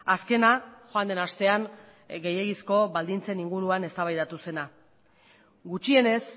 azkena joan den astean gehiegizko baldintzen inguruan eztabaidatu zen gutxienez